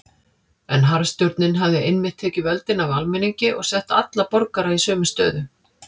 En harðstjórnin hafði einmitt tekið völdin af almenningi og sett alla borgara í sömu stöðu.